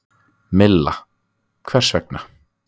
Milla: Hvers vegna?